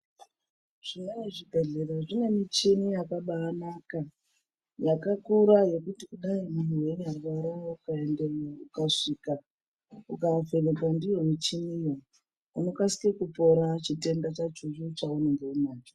Zvimweni zvibhedhlera zvine michini yakabanaka. Yakakura yekuti kudai muntu veinyarwara ukaendemwo ukasvika, ukavhenekwa ndiyo michiniyo unokasike kupora chitenda chachocho chaunenge unacho..